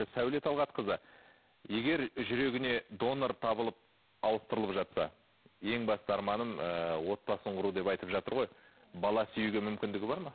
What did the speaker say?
сәуле талғатқызы егер жүрегіне донор табылып ауыстырылып жатса ең басты арманым ыыы отбасын құру деп айтып жатыр ғой бала сүюге мүмкіндігі бар ма